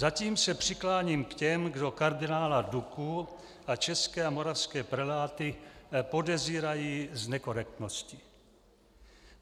Zatím se přikláním k těm, kdo kardinála Duku a české a moravské preláty podezírají z nekorektnosti.